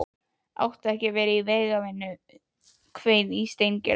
Áttu ekki að vera í vegavinnu? hvein í Steingerði.